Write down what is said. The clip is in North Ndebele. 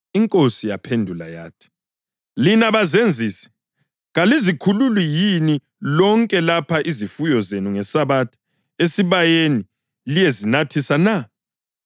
INkosi yamphendula yathi, “Lina bazenzisi! Kalizikhululi yini lonke lapha izifuyo zenu ngeSabatha esibayeni liyezinathisa na?